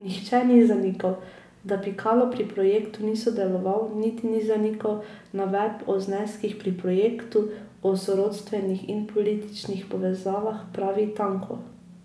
Nihče ni zanikal, da Pikalo pri projektu ni sodeloval, niti ni zanikal navedb o zneskih pri projektu, o sorodstvenih in političnih povezavah, pravi Tanko.